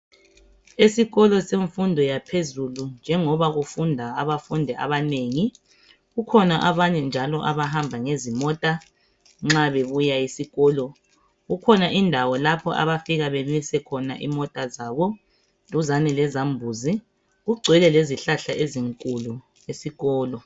Esikolo semfundo yaphezulu njengoba kufunda abafundi abanengi kukhona abanye njalo abahamba ezimota nxa bebuya esikolo. Kukhona indawo lapho abafika bemise khona imota zabo duzane lezambuzi. Kugcwele lezihlahla ezinkulu esikolo.